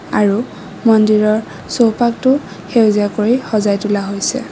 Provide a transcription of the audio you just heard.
আৰু মন্দিৰৰ চৌপাশটো সেউজীয়া কৰি সজাই তোলা হৈছে।